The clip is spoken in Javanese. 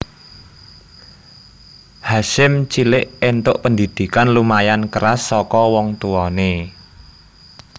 Hasyim cilik entuk pendhidhikan lumayan keras saka wong tuwane